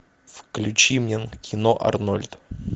включи мне кино арнольд